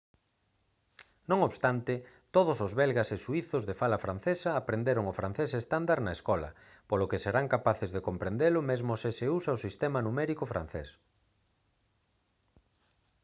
non obstante todos os belgas e suízos de fala francesa aprenderon o francés estándar na escola polo que serán capaces de comprendelo mesmo se se usa o sistema numérico francés